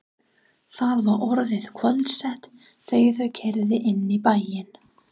Það var orðið kvöldsett þegar þau keyrðu inn í bæinn.